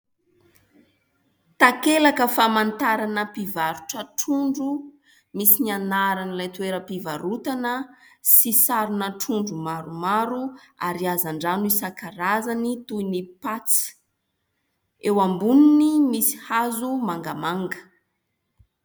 Takelaka famantarana mpivarotra trondro, misy ny anaran'ilay toeram-pivarotana, sy sarina trondro maromaro ary hazan-drano isankarazany, toy ny patsa. Eo amboniny, misy hazo mangamanga.